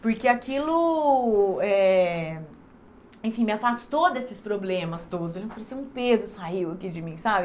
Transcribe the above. Porque aquilo, eh enfim, me afastou desses problemas todos, pareceu que um peso saiu aqui de mim, sabe?